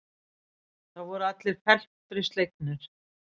Það voru allir felmtri slegnir.